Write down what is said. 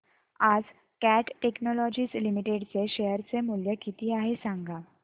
आज Cat technologies limited चे share चे मूल्य किती आहे सांगा